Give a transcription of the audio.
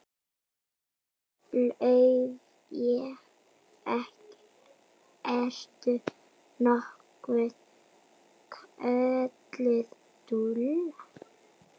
Laufey- ertu nokkuð kölluð Lulla?